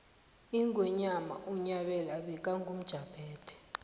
ingwenyama unyabela bekangumjaphethe